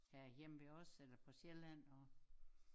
Herhjemme ved os eller på Sjælland og